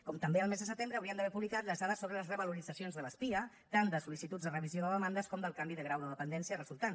com també el mes de setembre haurien d’haver publicat les dades sobre les revaloritzacions de les pia tant de sol·licituds a revisió de demandes com del canvi de grau de dependència resultant